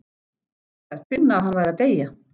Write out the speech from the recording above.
Hann sagðist finna að hann væri að deyja.